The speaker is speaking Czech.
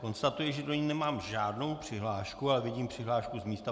Konstatuji, že do ní nemám žádnou přihlášku, ale vidím přihlášku z místa.